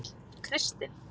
Kristin